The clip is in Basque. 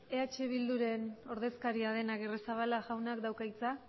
eh bilduren ordezkaria den agirrezabala jaunak dauka hitza